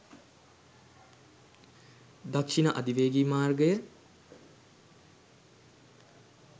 දක්ෂින අධිවේග මාර්ගය